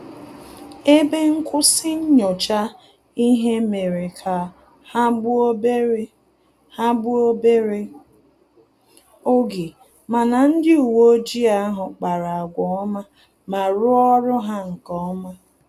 Ebe nkwụsị nyocha ihe mere ka ha gbuo obere ha gbuo obere oge, mana ndị uwe ojii ahụ kpara agwa ọma ma rụọ ọrụ ha nkeọma